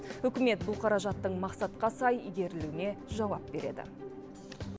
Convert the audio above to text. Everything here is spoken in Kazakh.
үкімет бұл қаражаттың мақсатқа сай игерілуіне жауап береді